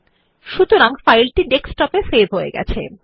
সুতরাং ফাইলটি ডেস্কটপে সেভ হয়ে যায়